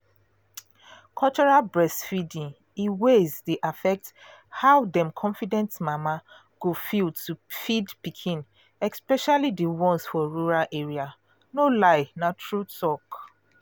cultural breastfeeding um ways dey affect how um confident mama go feel to feed pikin especially um for rural area. no lie na true talk.